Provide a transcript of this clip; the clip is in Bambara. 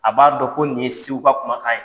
A b'a dɔn ko nin ye seguka ka kumakan ye.